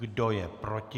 Kdo je proti?